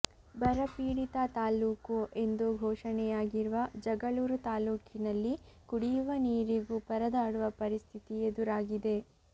ಬರಪೀಡಿತ ತಾಲ್ಲೂಕು ಎಂದು ಘೋಷಣೆಯಾಗಿರುವ ಜಗಳೂರು ತಾಲ್ಲೂಕಿನಲ್ಲಿ ಕುಡಿಯುವ ನೀರಿಗೂ ಪರದಾಡುವ ಪರಿಸ್ಥಿತಿ ಎದುರಾಗಿದೆ